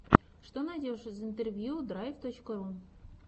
что найдешь из интервью драйв точка ру